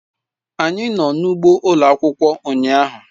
Anyị nọ n'ugbo ụlọ akwụkwọ ụnyahụ.